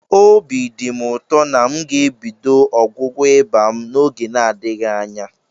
Obi dị m ụtọ na m ga-ebido ọgwụgwọ ịba m n'oge n'adịghị anya.